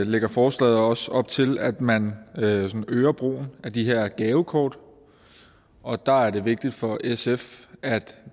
lægger forslaget også op til at man øger brugen af de her gavekort og der er det vigtigt for sf at